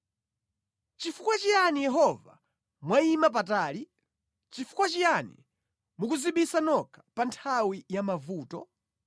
Nʼchifukwa chiyani Yehova mwayima patali? Chifukwa chiyani mukudzibisa nokha pa nthawi ya mavuto?